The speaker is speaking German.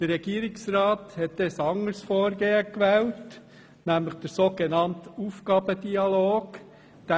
Der Regierungsrat hat damals ein anderes Vorgehen gewählt, nämlich den so genannten «Aufgabendialog».